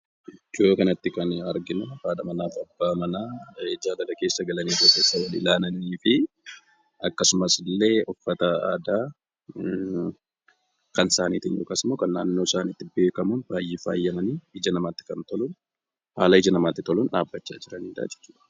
Iddoo kanatti kan arginu haadha manaaf abbaa manaa jaalala keessa galanii ija keessa walilaalaniifi akkasumas illee uffata aadaa kan naannoo isaaniitti beekamuun baay'ee faayamanii haala ija namaatti toluun dhaabachaa kan jiranidha jechuudha.